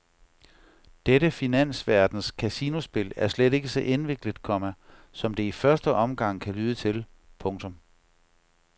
Dette finansverdens casinospil er slet ikke så indviklet, komma som det i første omgang kan lyde til. punktum